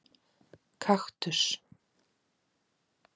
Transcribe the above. Kaktus